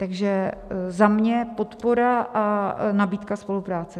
Takže za mě podpora a nabídka spolupráce.